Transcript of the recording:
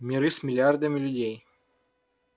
миры с миллиардами людей